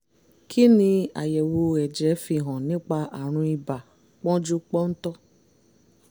kí ni àyẹ̀wò ẹ̀jẹ̀ yìí fi hàn nípa àrùn ibà pọ́njúpọ́ntọ̀?